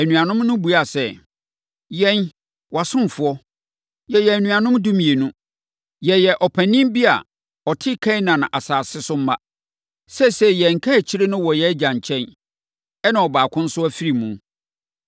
Anuanom no buaa sɛ, “Yɛn, wʼasomfoɔ, yɛyɛ anuanom dumienu. Yɛyɛ ɔpanin bi a ɔte Kanaan asase so mma. Seesei, yɛn kaakyire no wɔ yɛn agya nkyɛn, ɛnna ɔbaako nso afiri mu.”